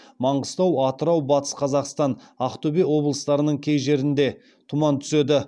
маңғыстау атырау батыс қазақстан ақтөбе облыстарының кей жерлерінде тұман түседі